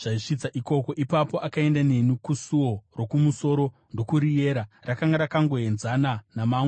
Ipapo akaenda neni kusuo rokumusoro ndokuriyera. Rakanga rakangoenzana namamwe pakuyera,